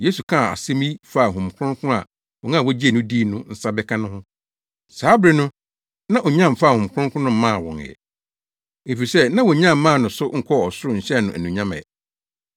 Yesu kaa saa asɛm yi faa Honhom Kronkron a wɔn a wogyee no dii no nsa bɛka no ho. Saa bere no na onya mfaa Honhom Kronkron no mmaa wɔn ɛ, efisɛ na wonnya mmaa no so nkɔɔ ɔsoro nhyɛɛ no anuonyam ɛ.